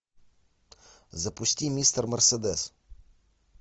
запусти мистер мерседес